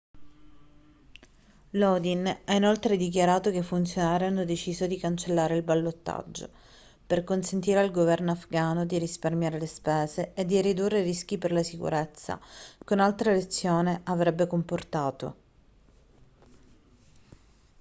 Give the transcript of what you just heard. lodin ha inoltre dichiarato che i funzionari hanno deciso di cancellare il ballottaggio per consentire al governo afgano di risparmiare le spese e di ridurre i rischi per la sicurezza che un'altra elezione avrebbe comportato